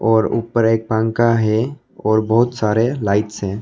और ऊपर एक पंखा है और बहुत सारे लाइट्स हैं।